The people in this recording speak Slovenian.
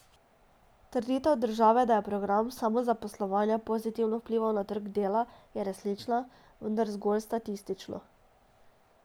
Trditev države, da je program samozaposlovanja pozitivno vplival na trg dela, je resnična, vendar zgolj statistično.